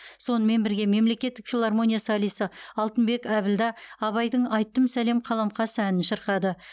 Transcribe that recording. сонымен бірге мемлекеттік филармония солисі алтынбек әбілда абайдың айттым сәлем қаламқас әнін шырқады